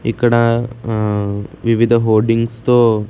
ఇక్కడ ఆ వివిధ హోర్డింగ్స్ తో--